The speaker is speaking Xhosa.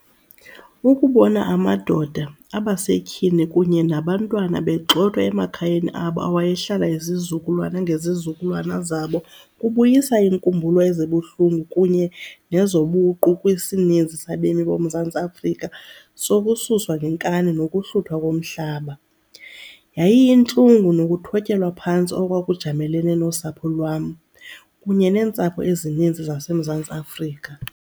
Ukubona amadoda, abasetyhini kunye nabantwana begxothwa emakhayeni abo awayehlala izizukulwana ngezizukulwana zabo kubuyisa iinkumbulo ezibuhlungu kunye nezobuqu kwisininzi sabemi boMzantsi Afrika sokususwa ngenkani nokuhluthwa komhlaba. Yayiyintlungu nokuthotyelwa phantsi okwakujamelene nosapho lwam, kunye neentsapho ezininzi zaseMzantsi Afrika.